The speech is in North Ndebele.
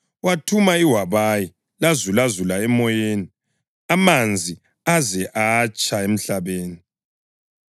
wathuma iwabayi, lazulazula emoyeni amanzi aze atsha emhlabeni.